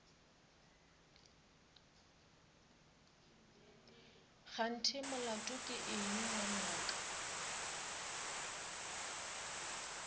kganthe molato ke eng ngwanaka